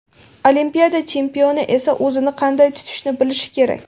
Olimpiada chempioni esa o‘zini qanday tutishni bilishi kerak.